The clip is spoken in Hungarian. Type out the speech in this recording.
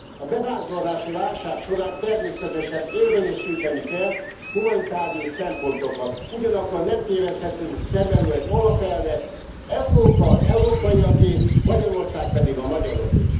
A bevándorlási válság során természetesen érvényesíteni kell humanitárius szempontokat, ugyanakkor nem téveszthetünk szem elől egy alapelvet Európa az európaiaké, Magyarország pedig a magyaroké.